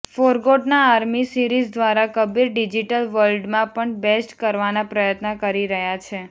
forgotten army series દ્વારા Kabir digital વર્લ્ડમાં પણ બેસ્ટ કરવાના પ્રયત્ન કરી રહ્યા છે